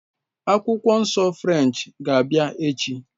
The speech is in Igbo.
Akwụkwọ Nsọ French ga-abịa echi